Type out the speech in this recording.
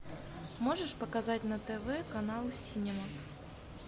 можешь показать на тв канал синема